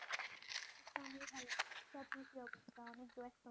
তা অবস্থা অনেক ব্যস্ত ?